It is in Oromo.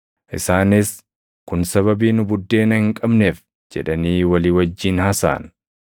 Isaanis, “Kun sababii nu buddeena hin qabneef” jedhanii walii wajjin haasaʼan.